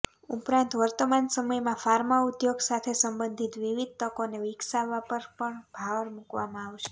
ઉપરાંત વર્તમાન સમયમાં ફાર્મા ઉદ્યોગ સાથે સંબંધિત વિવિધ તકોને વિકસાવવા પર પણ ભાર મૂકવામાં આવશે